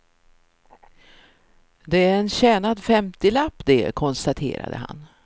Det är en tjänad femtilapp det, konstaterade han.